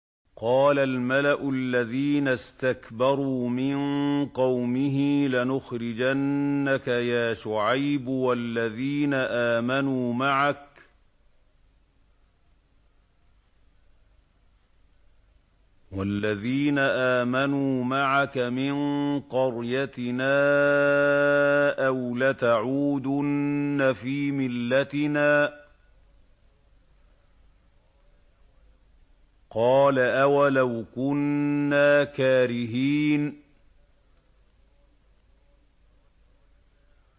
۞ قَالَ الْمَلَأُ الَّذِينَ اسْتَكْبَرُوا مِن قَوْمِهِ لَنُخْرِجَنَّكَ يَا شُعَيْبُ وَالَّذِينَ آمَنُوا مَعَكَ مِن قَرْيَتِنَا أَوْ لَتَعُودُنَّ فِي مِلَّتِنَا ۚ قَالَ أَوَلَوْ كُنَّا كَارِهِينَ